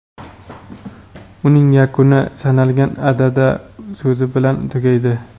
uning yakuni "sanalgan" (adada) so‘zi bilan tugaydi.